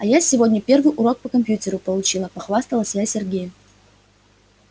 а я сегодня первый урок по компьютеру получила похвасталась я сергею